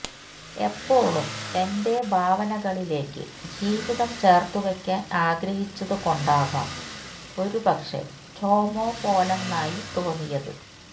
എപ്പോളും എന്റെ ഭാവനകളിലേക്ക് ജീവിതം ചേർത്തുവെക്കാൻ ആഗ്രഹിച്ചതുകൊണ്ടാകാം ഒരുപക്ഷേ റ്റോമോ പോലൊന്നായി തോന്നിയത്